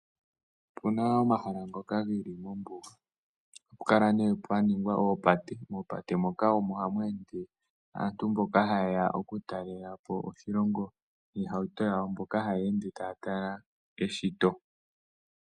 Opena omahala ngoka geli moombuga ohapu kala nee pwaningwa oopate. Mopate moka omo hamu ende aantu mboka haye ya okutalelapo oshilongo niihauto yawo mbyoka haya ende taya tala keshito.